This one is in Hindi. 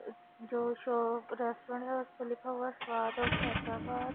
अ जो शो रेस्टोरेंट हैं उसपे लिखा हुआ हैं स्वाद ऑफ हैदराबाद।